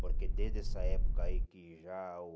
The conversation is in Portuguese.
Porque desde essa época aí que já o